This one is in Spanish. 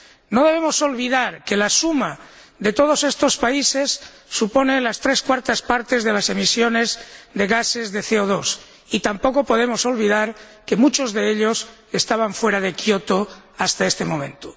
No debemos olvidar que la suma de todos estos países supone las tres cuartas partes de las emisiones de gases de CO 2 y tampoco podemos olvidar que muchos de ellos estaban fuera de Kyoto hasta este momento.